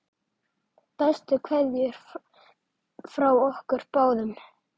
Bestu kveðjur frá okkur báðum.